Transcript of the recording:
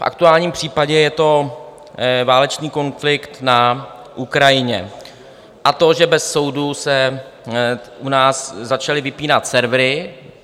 V aktuálním případě je to válečný konflikt na Ukrajině a to, že bez soudu se u nás začaly vypínat servery.